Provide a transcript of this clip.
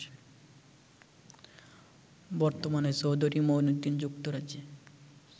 বর্তমানে চৌধুরী মুঈনুদ্দীন যুক্তরাজ্যে